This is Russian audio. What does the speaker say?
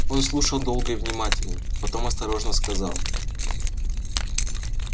он слушал долго и внимательно потом осторожно сказал